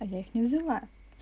а я их не взяла